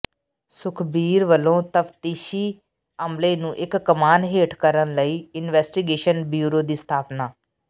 ਸੁਖਬੀਰ ਵਲੋਂ ਤਫਤੀਸ਼ੀ ਅਮਲੇ ਨੂੰ ਇਕ ਕਮਾਨ ਹੇਠ ਕਰਨ ਲਈ ਇਨਵੈਸਟੀਗੇਸ਼ਨ ਬਿਊਰੋ ਦੀ ਸਥਾਪਨਾ